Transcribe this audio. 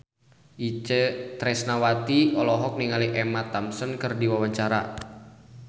Itje Tresnawati olohok ningali Emma Thompson keur diwawancara